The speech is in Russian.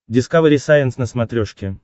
дискавери сайенс на смотрешке